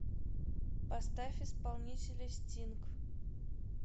поставь исполнителя стинг